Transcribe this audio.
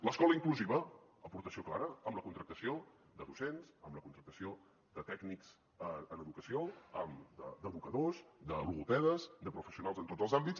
l’escola inclusiva aportació clara amb la contractació de docents amb la contractació de tècnics en educació d’educadors de logopedes de professionals en tots els àmbits